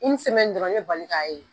dɔrɔn i bɛ bali k'a ye.